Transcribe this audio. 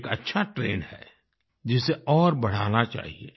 ये एक अच्छा ट्रेंड है जिसे और बढ़ाना चाहिए